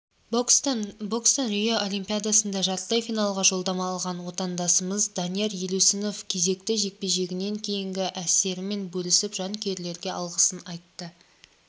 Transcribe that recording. бокстан рио олимпиадасында жартылай финалға жолдама алған отандасымызданияр елеусіновкезекті жекпе-жегінен кейінгі әсерімен бөлісіп жанкүйерлерге алғысын айтты